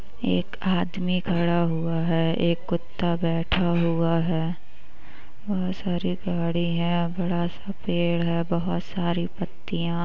एक आदमी खड़ा हुआ है । एक कुत्ता बैठा हुआ है बोहत सारी गाड़ी हैंबड़ा सा पेड़ है। बोहत सारी पत्तियां--